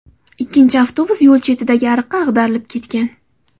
Ikkinchi avtobus yo‘l chetidagi ariqqa ag‘darilib ketgan.